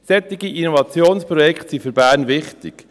Solche Innovationsprojekte sind für Bern wichtig.